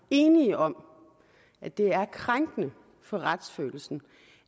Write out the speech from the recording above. enige om at det er krænkende for retsfølelsen